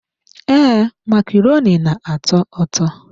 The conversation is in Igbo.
Ee, macaroni na-atọ ụtọ.